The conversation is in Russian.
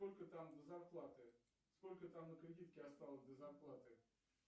сколько там до зарплаты сколько там на кредитке осталось до зарплаты